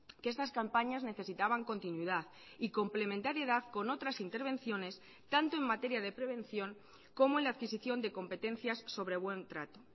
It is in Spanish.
que estas campañas necesitaban continuidad y complementariedad con otras intervenciones tanto en materia de prevención como en la adquisición de competencias sobre buen trato